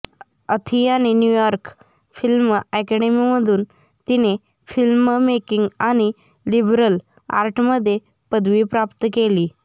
अथियाने New York film अॅकॅडमीमधून तिने film making आणि लिबरल आर्टमध्ये पदवी प्राप्त केली